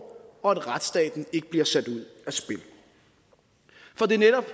og at retsstaten ikke bliver sat ud af spil for det er netop